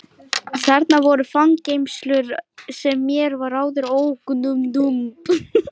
Þarna voru fangageymslur sem mér var áður ókunnugt um.